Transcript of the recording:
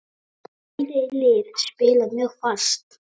Bæði lið spila mjög fast.